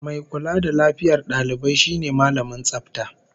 Mai kula da lafiyar dalibai shine Mallamin Tsafta